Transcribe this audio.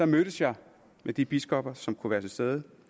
mødtes jeg med de biskopper som kunne være til stede